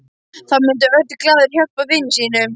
Þá myndi Örn glaður hjálpa vini sínum.